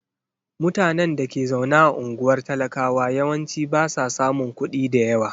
Mutanen da ke zaune a unguwar talakawa yawanci ba sa samun kuɗi da yawa.